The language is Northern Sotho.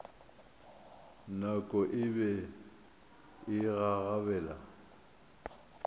nako e be e gagabela